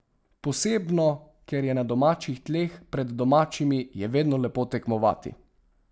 Posebno, ker je na domačih tleh, pred domačimi je vedno lepo tekmovati.